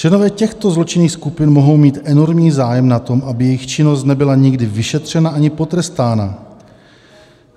Členové těchto zločinných skupin mohou mít enormní zájem na tom, aby jejich činnost nebyla nikdy vyšetřena ani potrestána.